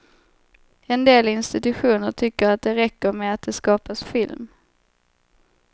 En del institutioner tycker att det räcker med att det skapas film.